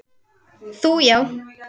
Þú já.